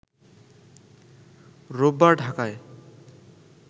রোববার ঢাকায়